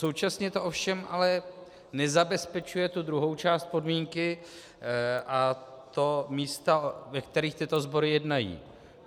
Současně to ovšem ale nezabezpečuje tu druhou část podmínky, a to místo, ve kterých tyto sbory jednají.